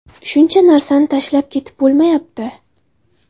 Shuncha narsani tashlab ketib bo‘lmayapti.